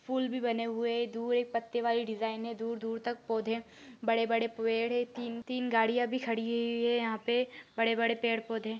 फूल भी बने हुए हैं धुएं पत्ते वाली डिज़ाइन हैं दूर दूर तक पौधे बड़े बड़े पेड़ हैं तीन तीन गाड़िया भी खड़ी हुई हैं यहाँ पे बड़े बड़े पेड़ पौधे--